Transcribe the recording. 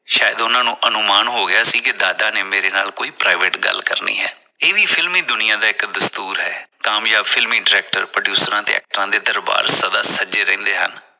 ਸ਼ਾਇਦ ਉਨਾਂ ਨੂੰ ਅਨੁਮਾਨ ਹੋ ਗਿਆ ਸੀ ਕਿ ਦਾਦਾ ਨੇ ਮੇਰੇ ਨਾਲ ਕੋਈ private ਗੱਲ ਕਰਨੀ ਹੈ ।ਇਹ ਵੀ ਫਿਲਮੀ ਦੁਨੀਆਂ ਦਾ ਇਕ ਦਸਤੂਰ ਹੈ ਕਾਮਜਾਬ ਫਿਲਮੀ director producer ਦੇ ਦਰਬਾਰ ਸਦਾ ਸਜੇ ਰਹਿੰਦੇ ਹਨ।